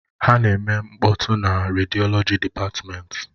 Ha na-eme mkpọtụ na rediọlọji dịpatmenti.